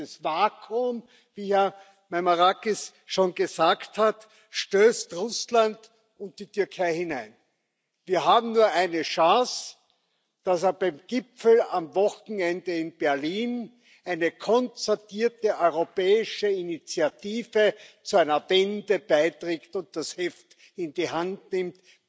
In dieses Vakuum, wie Herr Meimarakis schon gesagt hat, stoßen Russland und die Türkei hinein. Wir haben nur eine Chance, dass beim Gipfel am Wochenende in Berlin eine konzertierte europäische Initiative zu einer Wende beiträgt und das Heft in die Hand nimmt.